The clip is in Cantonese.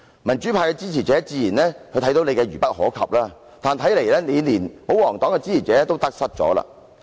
民主派的支持者自然早已看出你愚不可及，但看來你連保皇黨的支持者也得失了。